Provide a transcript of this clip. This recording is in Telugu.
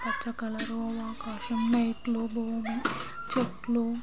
పచ్చ కలరు ఆకాశం నైట్లు భూమి చెట్లు --